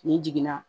N'i jiginna